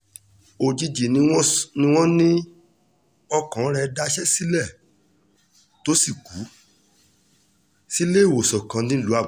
òjijì ni wọ́n ní ọkàn rẹ̀ daṣẹ́ sílẹ̀ tó sì kù sílééwòsàn kan nílùú àbújá